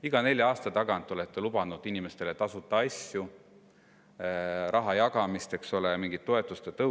Iga nelja aasta tagant lubasite inimestele tasuta asju, jagasite raha, eks ole, tõstsite mingeid toetusi.